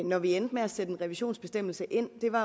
når vi endte med at sætte en revisionsbestemmelse ind det var